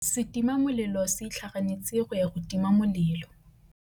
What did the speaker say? Setima molelô se itlhaganêtse go ya go tima molelô.